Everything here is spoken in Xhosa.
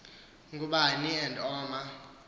ngubani n oma